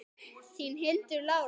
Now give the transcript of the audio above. Þín, Hildur Lára.